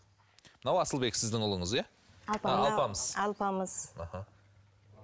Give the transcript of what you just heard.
мынау асылбек сіздің ұлыңыз иә а алпамыс алпамыс аха